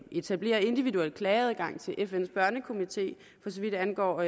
etablerer individuel klageadgang til fns børnekomité for så vidt angår